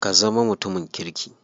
Ka zama mutumin kirki.